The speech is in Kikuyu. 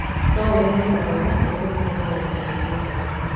No ũrehe marũa maku nĩguo tũhote gũgũteithia.